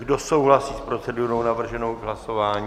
Kdo souhlasí s procedurou navrženou k hlasování?